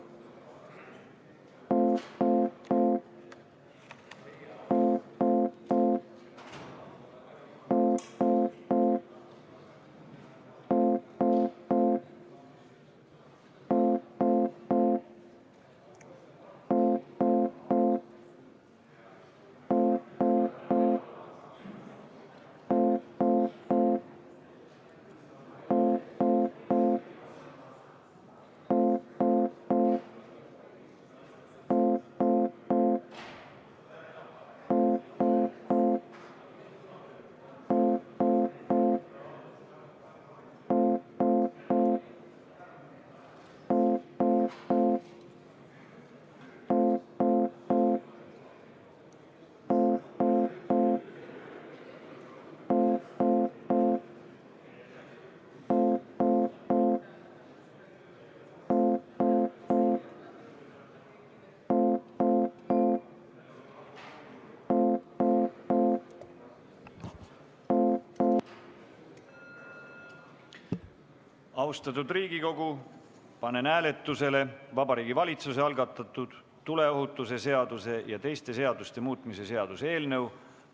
Austatud Riigikogu, panen hääletusele Vabariigi Valitsuse algatatud tuleohutuse seaduse ja teiste seaduste muutmise seaduse eelnõu.